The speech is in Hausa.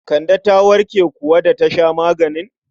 Kande ta warke kuwa da ta sha maganin?